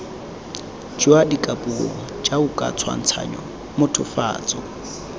jwa dikapuo jaoka tshwantshanyo mothofatso